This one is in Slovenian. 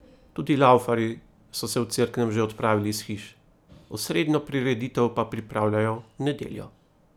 Tudi laufarji so se v Cerknem že odpravili iz hiš, osrednjo prireditev pa pripravljajo v nedeljo.